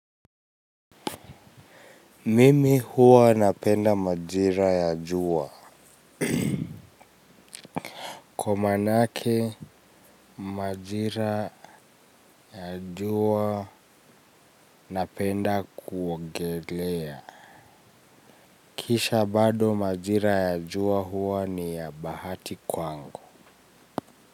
Mimi huwa napenda majira ya jua. Kwa manake majira ya jua napenda kuogelea. Kisha bado majira ya jua huwa ni ya bahati kwangu.